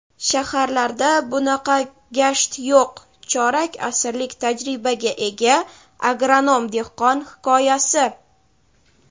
"Shaharlarda bunaqa gasht yo‘q" — chorak asrlik tajribaga ega agronom-dehqon hikoyasi.